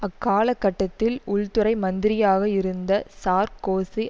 அக்கால கட்டத்தில் உள்துறை மந்திரியாக இருந்த சார்க்கோசி